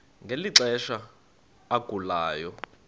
ngeli xesha agulayo